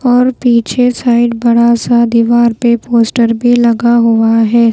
और पीछे साइड बड़ा सा दीवार पे पोस्टर भी लगा हुआ है।